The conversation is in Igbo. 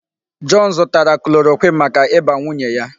John zụtara chloroquine maka ịba nwunye ya.